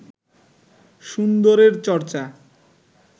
সুন্দরের চর্চা